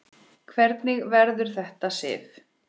Hvernig verður þetta, Sif?